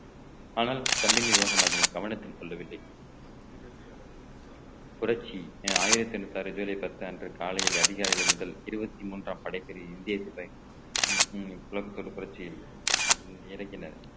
ஆனால் தம்பி நிர்வாகம் அதனை கவனத்தில் கொள்ளவில்லை புரட்சி ஆயிரத்தி எண்ணூத்தி ஆறு ஜூலை பத்து அன்று காலையில் அதிகாலை முதல் இருவத்தி மூன்றாம் படைப்பிரிவு இந்திய சிந்தனை உம் உம் உலகத்தோடு புரட்சியின் இறக்கினர்